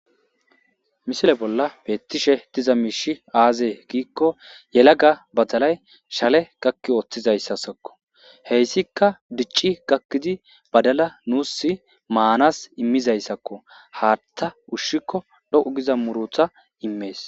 Misile bolla beettishe diza miishi aazee giikko yelaga badalay shale gakki ooththizayssassakko heyssikka dicci gakkidi badala nuus maanas immizayssakko haatta ushshikko dhoqu giza murutha immees.